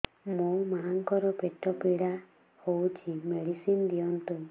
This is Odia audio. ମୋ ମାଆଙ୍କର ପେଟ ପୀଡା ହଉଛି ମେଡିସିନ ଦିଅନ୍ତୁ